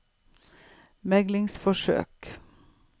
meglingsforsøk